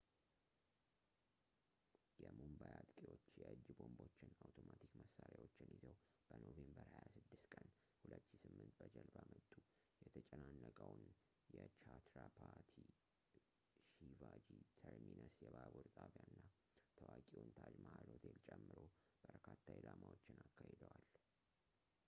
የሙምባይ አጥቂዎች የእጅ ቦምቦችን ፣ አውቶማቲክ መሣሪያዎችን ይዘው በኖቬምበር 26 ቀን 2008 በጀልባ መጡ ፣ የተጨናነቀውን የቻትራፓቲ ሺቫጂ ተርሚነስ የባቡር ጣቢያ እና ታዋቂውን ታጅ ማሃል ሆቴል ጨምሮ በርካታ ኢላማዎችን አካሂደዋል